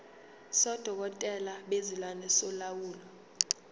sodokotela bezilwane solawulo